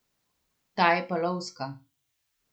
Ta je pa lovska?